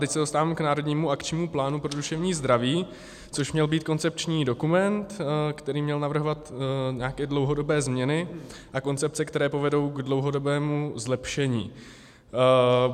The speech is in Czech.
Teď se dostávám k Národnímu akčnímu plánu pro duševní zdraví, což měl být koncepční dokument, který měl navrhovat nějaké dlouhodobé změny a koncepce, které povedou k dlouhodobému zlepšení.